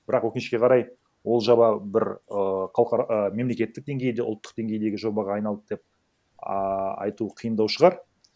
бірақ өкінішке қарай ол жоба бір ііі қауқар і мемлекеттік денгейде ұлттық денгейдегі жобаға айналды деп ааа айту қиындау шығар